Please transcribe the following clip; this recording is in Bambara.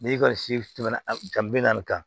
N'i kɔni si tɛmɛna bi naani kan